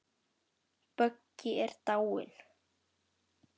Böggi er dáinn.